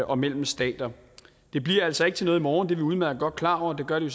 og mellem stater det bliver altså ikke til noget i morgen det er vi udmærket godt klar over det gør det